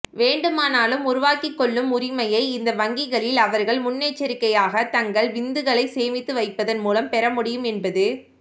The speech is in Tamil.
வேண்டுமானாலும் உருவாக்கிக்கொள்ளும் உரிமையை இந்த வங்கிகளில் அவர்கள் முன்னெச்சரிக்கையாக தங்கள் விந்துகளை சேமித்து வைப்பதன் மூலம் பெறமுடியும் என்பது